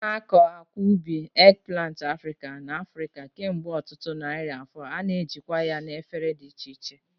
A na-akọ akwa ubi, eggplant Africa, n'Africa kemgbe ọtụtụ narị afọ, a na-ejikwa ya na efere dị iche iche.